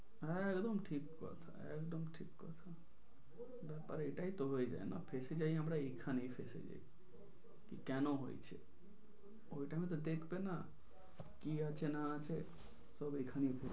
একদম ঠিক কথা একদম ঠিক কথা। ব্যাপার এইটাই তো হয়ে যায় না ফেঁসে যাই আমরা এইখানেই ফেঁসে যাই, কি কেন হয়েছে ওই time তে দেখবে না কি আছে না আছে তবে এইখানেই ফেঁসে যাই।